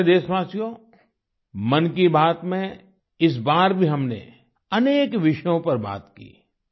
मेरे प्यारे देशवासियो मन की बात में इस बार भी हमने अनेक विषयों पर बात की